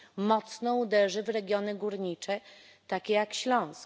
Mocno uderzy w regiony górnicze, takie jak Śląsk.